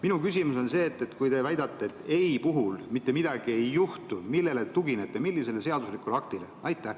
Minu küsimus on see: kui te väidate, et ei‑vastuse puhul mitte midagi ei juhtu, siis millele te tuginete, millisele seadusandlikule aktile?